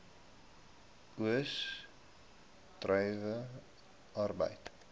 oes druiwe arbeid